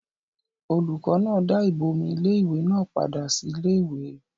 olùkọ́ náà dá ìbomi iléwẹ̀ náà padà sí iléwẹ̀